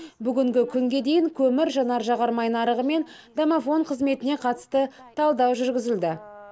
бүгінгі күнге дейін көмір жанар жағармай нарығы мен домофон қызметіне қатысты талдау жүргізілді